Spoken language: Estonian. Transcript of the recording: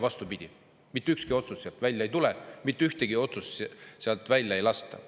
Vastupidi, mitte ükski otsus sealt välja ei tule, mitte ühtegi otsust sealt välja ei lasta.